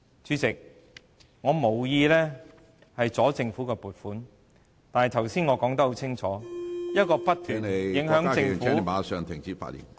主席，我無意阻礙政府的撥款，但我剛才已說得很清楚，一個不斷影響政府......